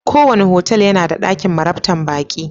Kowane otal yana da dakin marabtan baki.